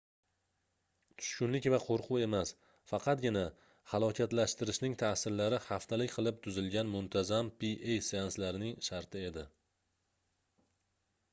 tushkunlik va qoʻrquv emas faqatgina halokatlashtirishning taʼsirlari haftalik qilib tuzilgan muntazam pa seanslarining sharti edi